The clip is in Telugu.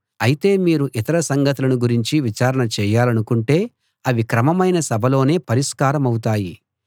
అయితే మీరు ఇతర సంగతులను గురించి విచారణ చేయాలనుకుంటే అవి క్రమమైన సభలోనే పరిష్కారమవుతాయి